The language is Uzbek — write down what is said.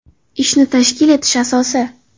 Ishni tashkil etish asosi.